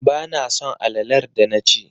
Ba na son alalar da na ci